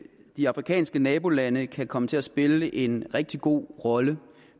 de afrikanske nabolande kan komme til at spille en rigtig god rolle